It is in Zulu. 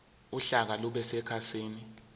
uhlaka lube sekhasini